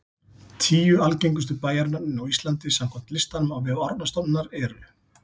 Tíu algengustu bæjarnöfnin á Íslandi samkvæmt listanum á vef Árnastofnunar eru: